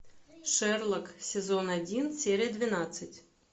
шерлок сезон один серия двенадцать